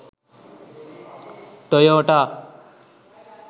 toyota